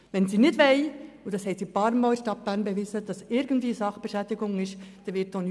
Wenn sie nicht wollen, dass es zu Sachbeschädigungen kommt, dann wird auch nichts passieren.